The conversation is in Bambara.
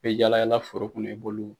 yala yala foro kɔnɔ i b'olu